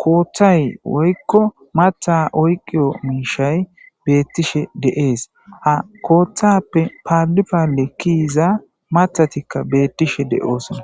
kooththay woykko matha oyqiyo mishay beettishe de'ees ha kooththappe paalipale kiyiza mathatikka beettishe de'oosona.